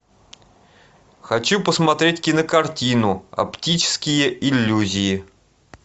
хочу посмотреть кинокартину оптические иллюзии